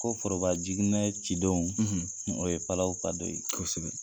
Ko forobajiginɛ cidon, o ye palaw ka do ye. Kosɛbɛ.